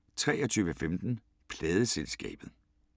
23:15: Pladeselskabet